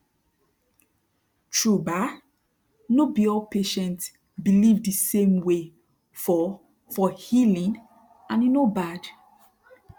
tru bah no be all patient believe de same way for for healing and e no bad